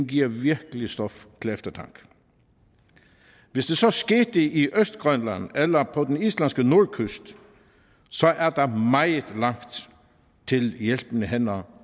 giver virkelig stof til eftertanke hvis det så skete i østgrønland eller på den islandske nordkyst er der meget langt til hjælpende hænder